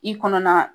I kɔnɔ na